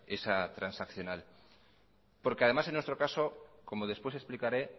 esa transaccional porque además en nuestro caso como después explicaré